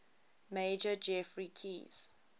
major geoffrey keyes